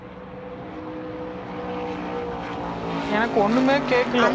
எனக்கு ஒண்ணுமே கேக்கல